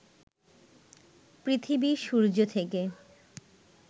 পৃথিবী সূর্য থেকে